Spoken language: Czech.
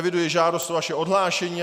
Eviduji žádost o vaše odhlášení.